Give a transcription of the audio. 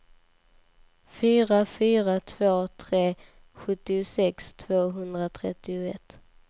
fyra fyra två tre sjuttiosex tvåhundratrettioett